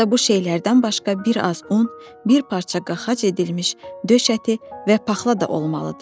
Orada bu şeylərdən başqa bir az un, bir parça qaxac edilmiş döş əti və paxla da olmalıdır.